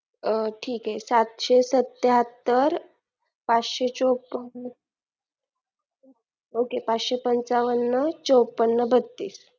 ठीक आहे सातशेसत्त्याहत्तर पाचशे चोपन ok पाचशेपचावन